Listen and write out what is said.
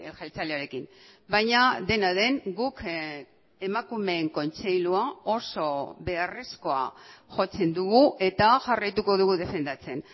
jeltzalearekin baina dena den guk emakumeen kontseilua oso beharrezkoa jotzen dugu eta jarraituko dugu defendatzen